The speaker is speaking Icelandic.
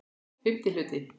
FIMMTI HLUTI